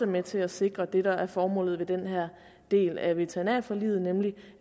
med til at sikre det der er formålet med den her del af veterinærforliget nemlig